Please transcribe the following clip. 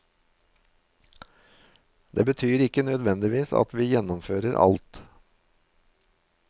Det betyr ikke nødvendigvis at vi gjennomfører alt.